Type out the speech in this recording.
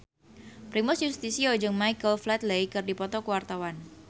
Primus Yustisio jeung Michael Flatley keur dipoto ku wartawan